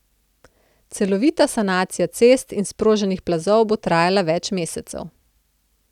Celovita sanacija cest in sproženih plazov bo trajala več mesecev.